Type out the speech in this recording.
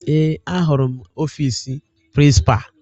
Ee, ahụrụ m ọfiisi prịnsịpa